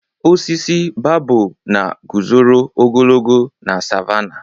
Osisi babọb na guzoro ogologo na savánàh.